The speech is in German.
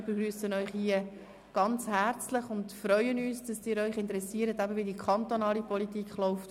Wir begrüssen Sie sehr herzlich und freuen uns, dass Sie sich interessieren, wie die kantonale Politik läuft.